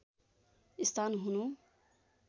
स्थान हुनु